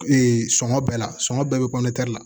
sɔngɔ bɛɛ la sɔngɔ bɛɛ bɛ la